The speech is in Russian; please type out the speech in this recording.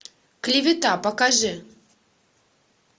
клевета покажи